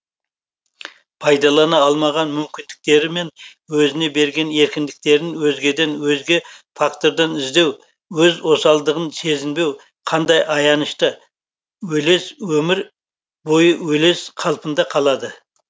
пайдалана алмаған мүмкіндіктері мен өзіне берген еркіндіктерін өзгеден өзге фактордан іздеу өз осалдығын сезінбеу қандай аянышты өлез өмір бойы өлез қалпында қалады